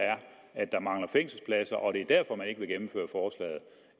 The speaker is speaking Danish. at der mangler fængselspladser og at det